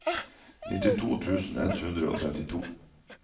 nittito tusen ett hundre og trettito